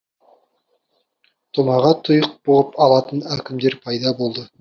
томаға тұйық бұғып алатын әкімдер пайда болды